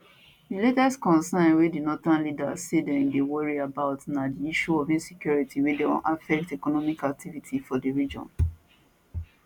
di latest concern wey di northern leaders say dem dey worry about na di issue of insecurity wey don affect economic activities for di region